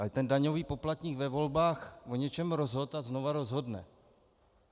Ale ten daňový poplatník ve volbách o něčem rozhodl a znova rozhodne.